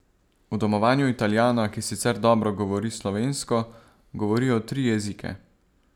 V domovanju Italijana, ki sicer dobro govori slovensko, govorijo tri jezike.